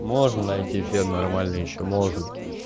можно найти фен нормальный ещё можно